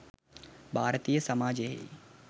භාරතීය සමාජයෙහි